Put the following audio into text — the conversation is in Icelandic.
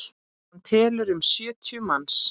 Hann telur um sjötíu manns.